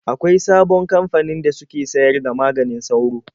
Akwain sabon kamfanin da suke sayar da maganin sauro.